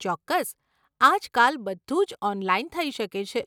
ચોક્કસ, આજકાલ બધું જ ઓનલાઈન થઇ શકે છે.